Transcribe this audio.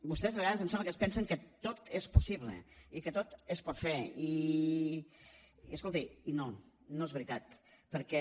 vostès de vegades em sembla que es pensen que tot és possible i que tot es pot fer i escolti no no és veritat perquè